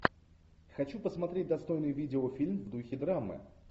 хочу посмотреть достойный видеофильм в духе драмы